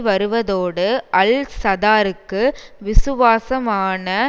வருவதோடு அல் சதாருக்கு விசுவாசமான